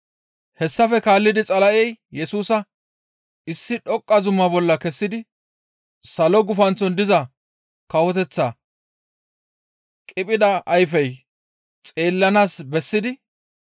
Hessafe kaallidi Xala7ey Yesusa issi dhoqqa zuma bolla kessidi salo gufanththon diza kawoteththata qiphida ayfey xeellanaas bessidi,